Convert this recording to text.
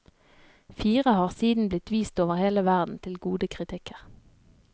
Fire har siden blitt vist over hele verden, til gode kritikker.